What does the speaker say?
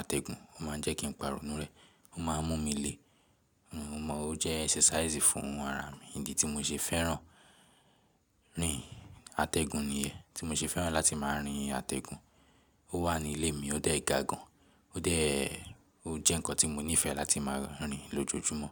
àtẹ̀gùn, ó má ń jẹ́ kí ń parọ́ inú rẹ̀. Ó má ń mú mi le. Mo mọ̀ ọ́ jẹ́ exercise fún ara mi idi tí mo ṣe fẹ́ràn. Àtẹ̀gùn nìyẹn tí mo ṣe fẹ́ràn láti máa rin àtẹ̀gùn. Ó wà ní ilé mi, ó dé ga gàn, ó de, ó jẹ́ ǹkan tí mo nífẹ̀ẹ́ láti máa rin lójoójúmọ́.